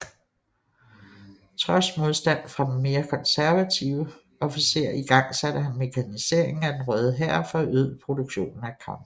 Trods modstand fra mere konservative officerer igangsatte han mekaniseringen af den Røde Hær og forøgede produktionen af kampvogne